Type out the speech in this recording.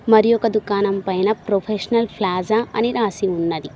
మరి ఒక దుకాణం పైన ప్రొఫెషనల్ ఫ్లాజా అని రాసి ఉన్నది.